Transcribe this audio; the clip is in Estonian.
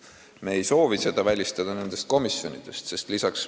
Me ei soovi seda välistada komisjonidest.